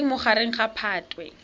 le leng magareng ga phatwe